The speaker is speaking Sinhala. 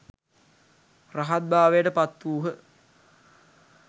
රහත් භාවයට පත් වූහ.